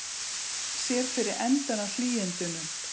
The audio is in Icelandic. Sér fyrir endann á hlýindunum